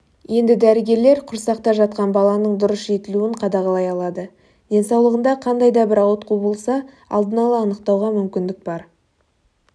енді дәрігерлер құрсақта жатқан баланың дұрыс жетілуін қадағалай алады денсаулығында қандай да бір ауытқу болса алдын ала анықтауға мүмкіндік бар